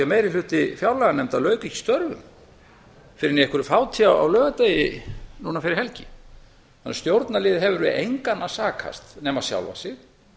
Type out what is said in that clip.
meiri hluti fjárlaganefndar lauk ekki störfum fyrr en í einhverju fáti á laugardegi núna fyrir helgi þannig að stjórnarliðið hefur við engan að sakast nema sjálfa sig